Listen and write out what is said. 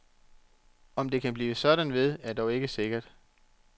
Om det kan blive sådan ved, er dog ikke sikkert.